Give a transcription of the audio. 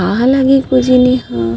काहा लगी कोजनी इहा --